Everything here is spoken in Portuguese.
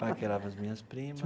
Paquerava as minhas primas.